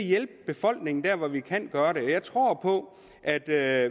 hjælpe befolkningen dér hvor vi kan gøre det og jeg tror på at vi er